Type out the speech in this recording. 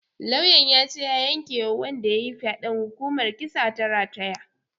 Lauyan yace ya yanke wa wanda yayi faɗen hukumar kisa ta rataya